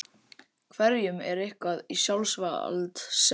Einhverjum er eitthvað í sjálfs vald sett